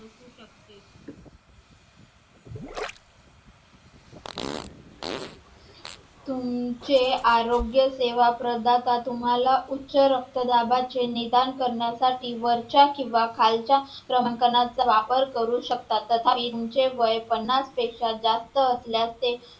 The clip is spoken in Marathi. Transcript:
तुमचे आरोग्य सेवाप्रदाता उच्च रक्तदाबाचे निदान करण्यासाठी वरच्या किंवा खालच्या क्रमांकाचा वापर करू शकता तथापि तुमचे वय पन्नास पेक्षा जास्त असल्यास ते